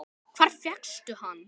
Hvar fékkstu hann?